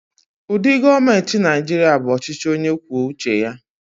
Ụdị gọọmenti Nigeria bụ ọchịchị onye kwuo uche ya.